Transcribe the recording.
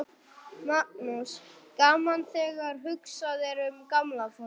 Magnús: Gaman þegar hugsað er um gamla fólkið?